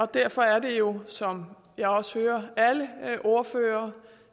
derfor er det jo som jeg også hører alle ordførere